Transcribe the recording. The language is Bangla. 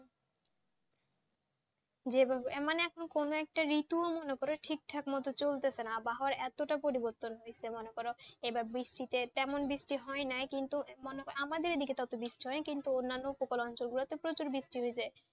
যেভাবে মানে কোন একটা ঋতু মনে করো ঠিক ঠাক মতো ভাবে চলছে না আবহাওয়ার এতটা পরিবর্তন হয়েছে মনে করো এবার বৃষ্টিতে তেমন বৃষ্টি হয় নাই কিন্তু আমাদের এদিকে বৃষ্টি হয় নাই কিন্তু অন্যান্য উপকূল অঞ্চল গুলোতে প্রচুর বৃষ্টি হয়েছে,